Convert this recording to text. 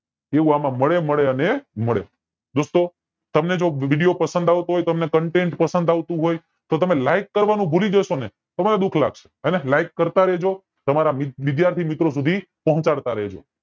એવું એમાં મળે મળે અને મળે દોસ્તો તમને જો video પસંદ આવતો હોય containt પસંદ આવતું હોય તો તમે like કરવાનું ભૂલી જાસો ને તો મને દુઃખ લાગશે હેને like કરતા રેજો તમારા વિધ વિદ્યાર્થી મિત્રો સુધી પોચાડતા રેજો